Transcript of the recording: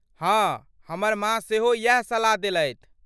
हाँ, हमर माँ सेहो इएह सलाह देलथि।